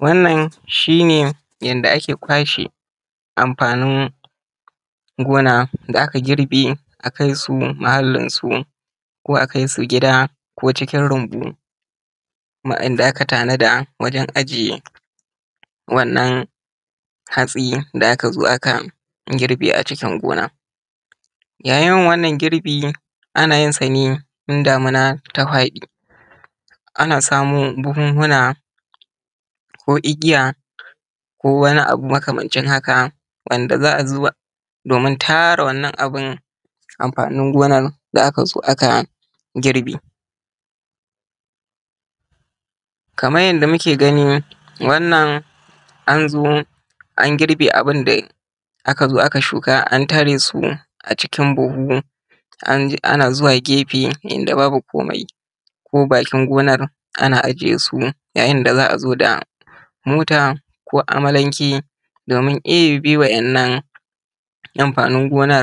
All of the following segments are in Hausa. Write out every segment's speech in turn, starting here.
Wannan shi ne yanda ake kwashe amfanin gona da aka girbe a kai su muhallinsu, ko a kai su gida, ko cikin rumbu inda aka tanada wajan ajiye wannan hatsi da aka zo aka girbe a cikin gona. Yayin yin wannan girbi, ana yin sa ne in damuna ta faɗi, ana samu buhuhuna ko igiya, ko wani abu makamancin haka, wanda za a zuba domin tara wannan abu amfanin gonar da aka zo aka girbe. Kamar yanda muke gani wannan an zo an girbe abin da aka shuka, an tara su a cikin buhu ana zuwa gefe inda babu komai, ko bakin gona, ana ajiye su yayin da za a zo da mota, ko amalanke domin ɗeba wa'innan amfanin gona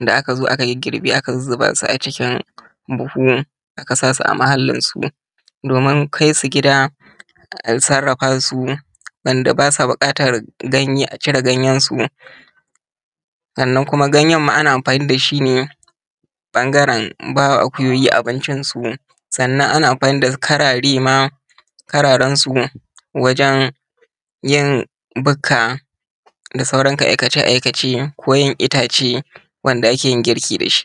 da aka zo aka girgirbe aka zuzzuba su a cikin buhu, aka sa su a muhallinsu, domin kai su gida a sarafasu. Wanda ba su bukatan ganye a cire ganyansu, sannan kuma ganyen ma ana amfani da shi ne ɓangaran bawa akuyoyi abincin su, sannan ana amfani ma da ƙararai ma, kararan su wajan yin bukka da sauran aikace_aikace, ko yin itace, wanda ake yin girki da shi.